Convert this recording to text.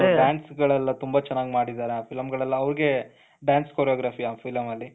dance ಗಳು ಎಲ್ಲಾ ತುಂಬಾ ಚೆನ್ನಾಗಿ ಮಾಡಿದ್ದಾರೆ ಆ film ಗಳೆಲ್ಲ ಅವ್ರಿಗೆ dance choreography ಅ ಫಿಲಂ ಅಲ್ಲಿ